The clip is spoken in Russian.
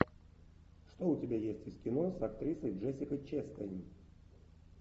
что у тебя есть из кино с актрисой джессикой честейн